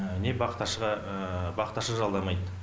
не бақташыға бақташы жалдамайды